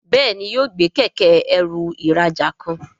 Béèni yóò gbé Kẹ̀kẹ́-ẹrù ìrajà kan.